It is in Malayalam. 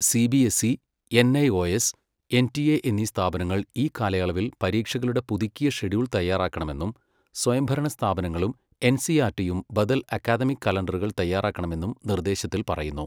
C B S C, NIOS, NTA എന്നീ സ്ഥാപനങ്ങൾ ഈ കാലയളവിൽ പരീക്ഷകളുടെ പുതുക്കിയ ഷെഡ്യൂൾ തയ്യാറാക്കണമെന്നും സ്വയംഭരണ സ്ഥാപനങ്ങളും എൻസിഇആർടിയും ബദൽ അക്കാദമിക കലണ്ടറുകൾ തയ്യാറാക്കണമെന്നും നിർദ്ദേശത്തിൽ പറയുന്നു.